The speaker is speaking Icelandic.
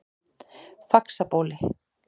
Faxabóli